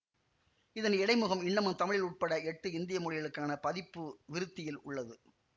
இதன் இடைமுகம் இன்னமும் தமிழில் உட்பட எட்டு இந்திய மொழிகளுக்கான பதிப்பு விருத்தியில் உள்ளது